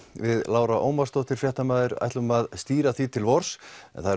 við Lára Ómarsdóttir fréttamaður ætlum að stýra því til vors það